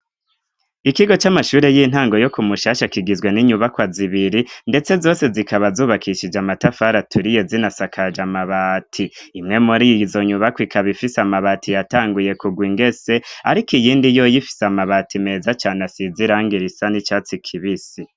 ikigo c'amashure y'intango yo ku mushasha kigizwe n'inyubakwa zibiri ndetse zose zikaba zubakishije amatafara turiye zinasakaje amabati imwe muri izo nyubakwa ikaba ifise amabati yatanguye kugw ingese ariko iyindi yo yifise amabati meza cyane asizirangirisa n'icatsi kibisi